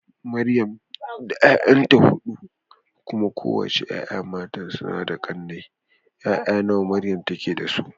Maryamu tana da 'ya'ya mata huɗu, kuma kowace 'ya'yanta mata suna da ƙane. 'Ya'ya nawa Maryamu take da su?